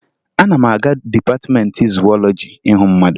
Ana m aga dịpatịmeentị zuwọlọji ịhụ mmadụ